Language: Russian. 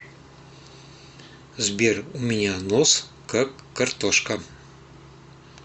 сбер у меня нос как картошка